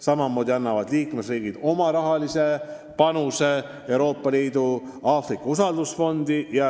Samamoodi annavad liikmesriigid oma rahalise panuse Euroopa Liidu loodud usaldusfondi Aafrika jaoks.